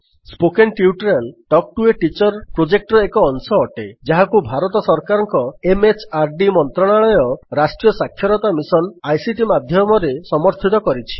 spoken tutorial talk to a teacher ପ୍ରୋଜେକ୍ଟର ଏକ ଅଂଶ ଅଟେ ଯାହାକୁ ଭାରତ ସରକାରଙ୍କ ଏମଏଚଆରଡି ମନ୍ତ୍ରଣାଳୟର ରାଷ୍ଟ୍ରୀୟ ସାକ୍ଷରତା ମିଶନ୍ ଆଇସିଟି ମାଧ୍ୟମରେ ସମର୍ଥିତ କରିଛି